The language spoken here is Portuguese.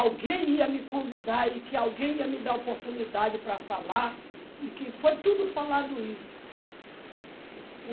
Alguém ia me convidar e que alguém ia me dar oportunidade para falar e que foi tudo falado isso.